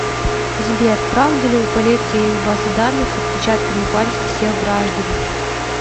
сбер правда ли у полиции есть базы данных с отпечатками пальцев всех граждан